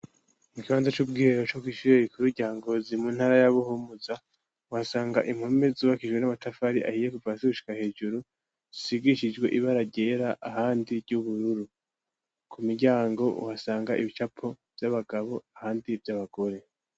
Mu kibanza c'ubwihero co kishiri igikuru rya ngozi mu ntara y'abuhumuza uhasanga impome zubakijwe n'amatafari ahiye kuvasi gushika hejuru zisigishijwe ib araryera ahandi ry'ubururu, ku miryango uhasanga ibicapo vy'abagabo ahandi vy'abagore.